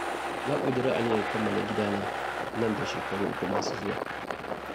Na ƙudiri aniyar kammala gidana nan da shekara uku masu zuwa.